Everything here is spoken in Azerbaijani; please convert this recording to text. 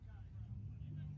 Buyur, canım.